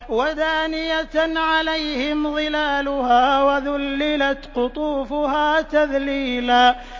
وَدَانِيَةً عَلَيْهِمْ ظِلَالُهَا وَذُلِّلَتْ قُطُوفُهَا تَذْلِيلًا